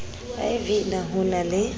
iv na ho na le